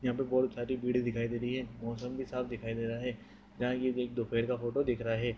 यहा पे बहुत सारी भीड़ दिखाई दे रही हैमौसम भी साफ दिखाई दे रही है यहा एक दोपहर का फोटो दिख रहा है।